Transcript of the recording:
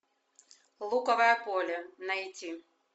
луковое поле найти